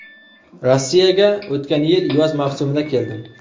Rossiyaga o‘tgan yil yoz mavsumida keldim.